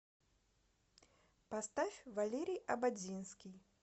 поставь валерий ободзинский